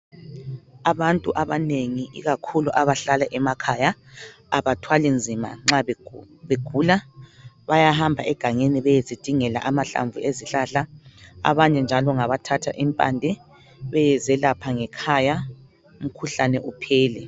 Abantu abanengi ikakhulu abahlala emakhaya abathwali nzima nxa begula bayahamba egangeni beyezidingela amahlamvu ezihlahla abanye njalo ngabathatha impande beyezelapha ngekhaya umkhuhlane uphele.